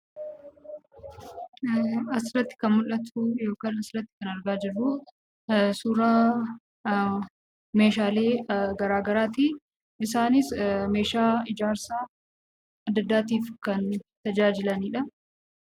Asirratti kan mul'atuu yookaan Asirratti kan agarruu kun suuraa meeshaalee garagaraatii. Isaanis meeshaa ijaarsa adda addaatiif kan tajaajilanidha.